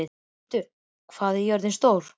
Hjörtur, hvað er jörðin stór?